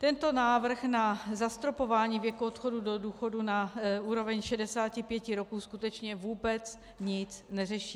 Tento návrh na zastropování věku odchodu do důchodu na úroveň 65 roků skutečně vůbec nic neřeší.